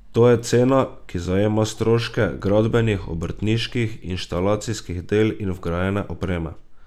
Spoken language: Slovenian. To je cena, ki zajema stroške gradbenih, obrtniških, inštalacijskih del in vgrajene opreme.